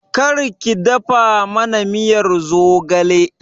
Kar ki dafa mana miyar zogale!